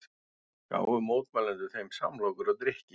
Gáfu mótmælendur þeim samlokur og drykki